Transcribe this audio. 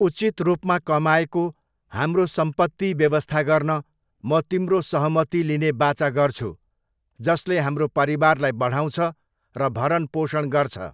उचित रूपमा कमाएको, हाम्रो सम्पत्ति व्यवस्था गर्न, म तिम्रो सहमति लिने वाचा गर्छु, जसले हाम्रो परिवारलाई बढाउँछ र भरणपोषण गर्छ।